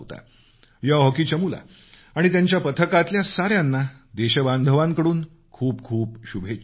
या हॉकी चमूला आणि त्यांच्या पथकातल्या साऱ्यांना देशबांधवांकडून खूप खूप शुभेच्छा